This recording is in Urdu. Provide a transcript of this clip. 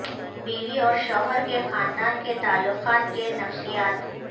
بیوی اور شوہر کے خاندان کے تعلقات کے نفسیات